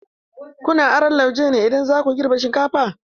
Kuna aron lauje ne idan za ku girbe shinkafa?